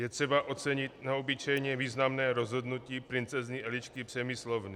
Je třeba ocenit neobyčejně významné rozhodnutí princezny Elišky Přemyslovny.